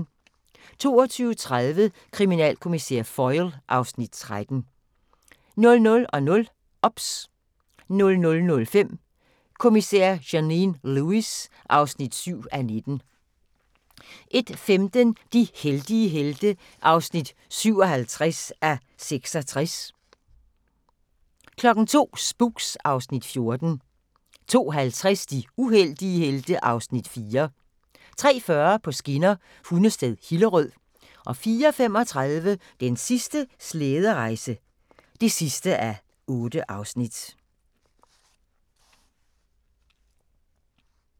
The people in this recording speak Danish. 22:30: Kriminalkommissær Foyle (Afs. 13) 00:00: OBS 00:05: Kommissær Janine Lewis (7:19) 01:15: De heldige helte (57:66) 02:00: Spooks (Afs. 14) 02:50: De uheldige helte (Afs. 4) 03:40: På skinner: Hundested – Hillerød 04:35: Den sidste slæderejse (8:8)